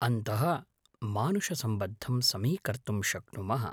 अन्तः मानुषसम्बद्धं समीकर्तुं शक्नुमः